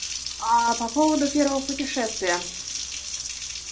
а по поводу первого путешествия